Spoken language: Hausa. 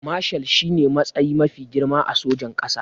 Mashal shine matsayi mafi girma a sojin ƙasa